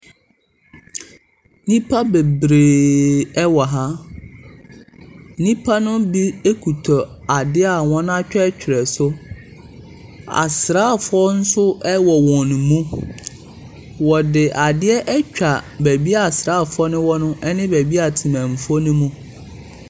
Nnipa bebreeeee wɔ ha. Nnipa no bi kuta adeɛ a wɔatwerɛtwerɛ so. Asraafoɔ nso wɔ wɔn mu. Wɔde adeɛ atwa baabi a asraafoɔ no wɔn no ne baabi a temamufoɔ no mu .